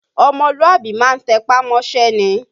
Ọmọlúàbí má ń tẹpá mọ́ṣẹ́ ni